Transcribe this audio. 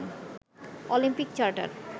Olympic charter